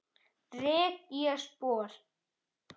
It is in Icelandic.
Rek ég spor.